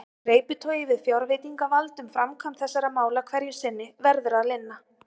Öllu reiptogi við fjárveitingavald um framkvæmd þessara mála hverju sinni verður að linna.